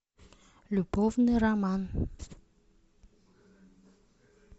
любовный роман